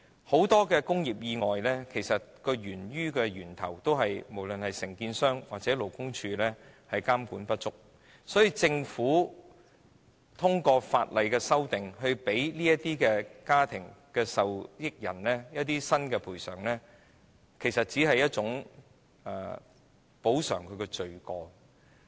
很多工業意外源於承建商或勞工處監管不足，因此政府修訂法例，給予有關家庭受益人一個新的賠償額，其實只是補償罪過。